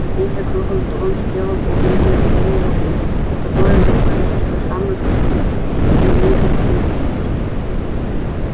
здесь за круглым столом сидело полдюжины фермеров и такое же количество самых именитых свиней